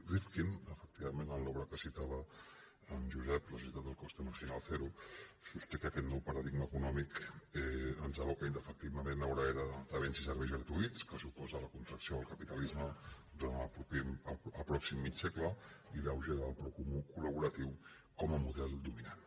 rifkin efec·tivament en l’obra que citava en josep la sociedad de coste marginal cero sosté que aquest nou paradig·ma econòmic ens aboca indefectiblement a una era de béns i serveis gratuïts que suposa la contracció del ca·pitalisme durant el pròxim mig segle i l’auge del pro·comú col·laboratiu com a model dominant